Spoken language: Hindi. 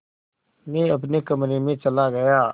मैं अपने कमरे में चला गया